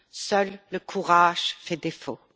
Seul le courage fait défaut.